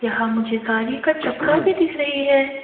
यहां मुझे गाड़ी का चक्का भी दिख रही है।